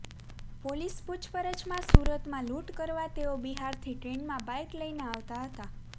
police પૂછપરછમાં સુરતમાં લૂંટ કરવા તેઓ બિહારથી ટ્રેનમાં બાઇક લઇને આવતા હતા